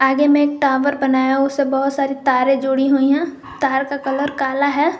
आगे में एक टावर बनाया हुआ है उससे बहुत सारी तारे जुड़ी हुई है तार का कलर काला है।